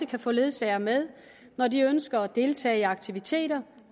kan få ledsager med når de ønsker at deltage i aktiviteter